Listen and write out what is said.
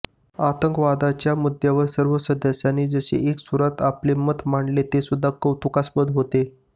आतंकवादाच्या मुद्द्यावर सर्व सदस्यांनी जसे एका सुरात आपले मत मांडले हे सुद्धा कौतुकास्पद होते